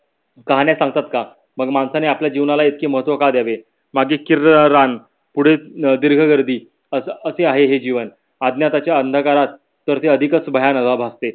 काहाण्या सांगतात का. मग माणसाने आपले जीवनाला इतके महत्व का द्यावे. मागे किर्र अं रान पुढे अं दीर्घ गर्दी असे आहे हे जीवन. आज्ञार्थयाच्या अंधरात तर ते अधिकच भयावाह वाटते.